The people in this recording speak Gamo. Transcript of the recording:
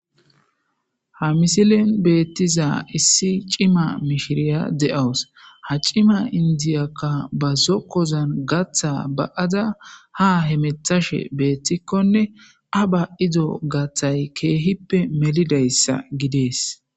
Ha misilin beettiza issi cima mishiriya de'owus ha cima indiyakka ba zokkozan gatha ba'ada ha hemethashe beettikkone a ba ido gathay keehippe melidayssa gidees